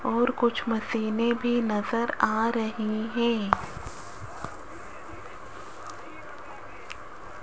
और कुछ मशीनें भी नजर आ रही हैं।